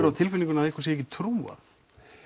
á tilfinningunni að ykkur sé ekki trúað